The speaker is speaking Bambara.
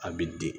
A bi di